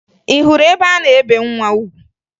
Ị hụrụ ebe a na-ebe nwa ugwu?